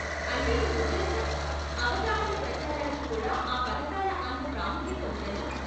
అంటే నీ ఉద్దేశ్యం అవగాహన ప్రచారాలకు కూడా ఆ పథకాల అంత ప్రాముఖ్యత ఉందని.